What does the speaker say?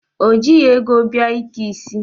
O jighị ego bịa ike isi.